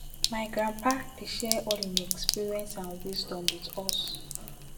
my grandpa dey share all im experience and wisdom wit us